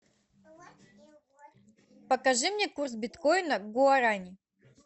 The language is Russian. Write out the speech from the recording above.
покажи мне курс биткоина к гуарани